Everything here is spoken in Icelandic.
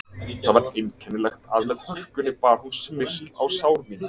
Það var einkennilegt að með hörkunni bar hún smyrsl á sár mín.